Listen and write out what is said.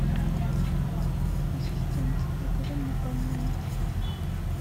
ассистент закажи мне бананы